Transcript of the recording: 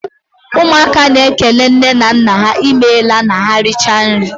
Ụmụaka na ékélé nne na nna há I meela ma ha richaa nri.